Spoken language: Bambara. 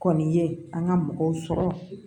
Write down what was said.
Kɔni ye an ka mɔgɔw sɔrɔ